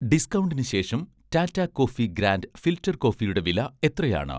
ഡിസ്കൗണ്ടിന് ശേഷം 'Tata coffee grand' filter കോഫിയുടെ വില എത്രയാണ്?